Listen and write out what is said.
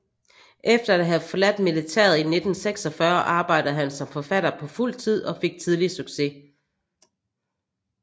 Efter at have forladt militæret i 1946 arbejdede han som forfatter på fuld tid og fik tidligt succes